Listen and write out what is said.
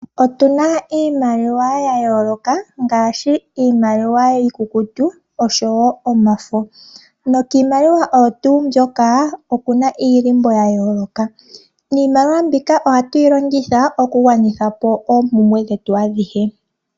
Otuna iimaliwa yayoloka ngaashi iimaliwa iikukutu oshowo omafo. Nokiimaliwa oyo tuu mbyoka okuna iihako yayoloka. Niimaliwa mbika ohatu yi longitha oku gwanithapo oompumbwe dhetu adhihe.